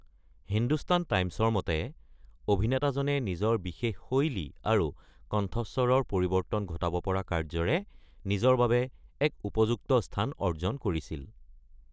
হিন্দুস্তান টাইমছৰ মতে, "অভিনেতাজনে নিজৰ বিশেষ শৈলী আৰু কণ্ঠস্বৰৰ পৰিৱৰ্তন ঘটাব পৰা কাৰ্য্যৰে নিজৰ বাবে এক উপযুক্ত স্থান অৰ্জন কৰিছিল।"